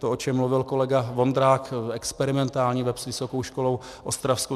, to, o čem mluvil kolega Vondrák, experimentální web s vysokou školou ostravskou.